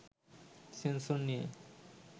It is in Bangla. সেন্সর নিয়ে